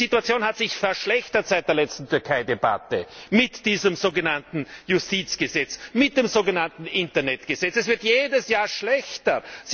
Die Situation hat sich verschlechtert seit der letzten Türkei Debatte mit diesem sogenannten Justizgesetz, mit dem sogenannten Internetgesetz. Es wird jedes Jahr schlechter!